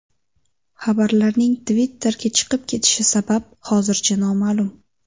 Xabarning Twitter’ga chiqib ketishi sabab hozircha noma’lum.